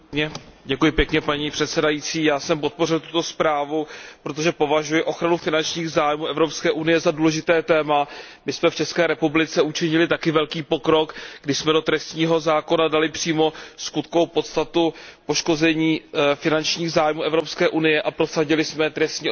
Já jsem podpořil tuto zprávu, protože považuji ochranu finančních zájmů Evropské unie za důležité téma. My jsme v České republice učinili také velký pokrok, kdy jsme do trestního zákona dali přímo skutkovou podstatu poškození finančních zájmů Evropské unie a prosadili jsme trestní odpovědnost právnických osob.